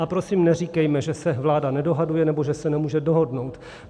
A prosím, neříkejme, že se vláda nedohaduje, nebo že se nemůže dohodnout.